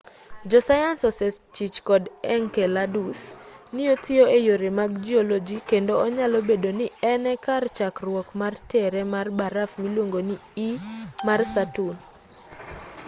josayans osechich kod enceladus ni otiyo e yore mag jioloji kendo onyalo bedo ni en e kar chakruok mar tere mar baraf miluongo ni e mar saturn